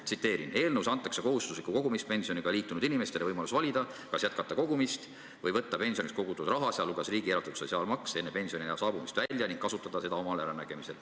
Tsiteerin: "Eelnõus antakse kohustusliku kogumispensioniga liitunud inimestele võimalus valida, kas jätkata kogumist või võtta pensioniks kogutud raha enne pensioniea saabumist välja ning kasutada seda omal äranägemisel.